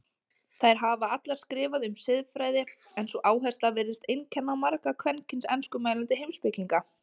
Þær hafa allar skrifað um siðfræði en sú áhersla virðist einkenna marga kvenkyns enskumælandi heimspekinga.